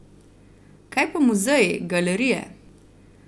Kaj pa muzeji, galerije?